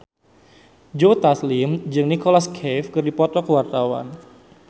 Joe Taslim jeung Nicholas Cafe keur dipoto ku wartawan